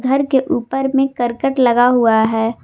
घर के ऊपर में करकट लगा हुआ है।